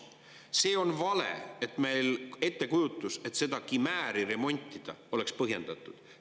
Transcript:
See on vale ettekujutus, et seda kimääri remontida oleks põhjendatud.